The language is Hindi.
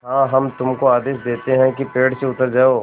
हाँ हम तुमको आदेश देते हैं कि पेड़ से उतर जाओ